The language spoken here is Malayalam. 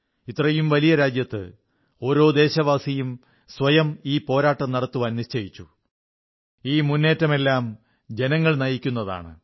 ഇത്രയും വലിയ രാജ്യത്ത് ഓരോ ദേശവാസിയും സ്വയം ഈ പോരാട്ടം നടത്താൻ നിശ്ചയിച്ചു ഈ മുന്നേറ്റമെല്ലാം ജനങ്ങൾ നയിക്കുന്നതാണ്